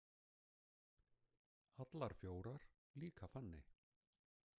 Allar fjórar, líka Fanney.